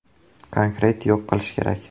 “Konkret yo‘q qilish kerak.